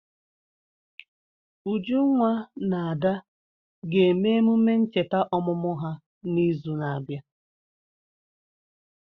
Ujunwa na Ada ga-eme emume ncheta ọmụmụ ha n'izu na-abịa.